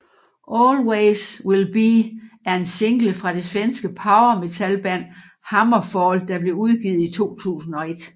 Always Will Be er en single fra det svenske power metalband HammerFall der blev udgivet i 2001